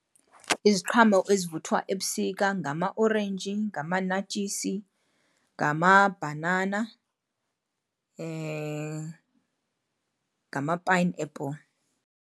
Iziqhamo ezivuthwa ebusika ngamaorenji, ngamanatshisi, ngamabhanana, ngama-pineapple.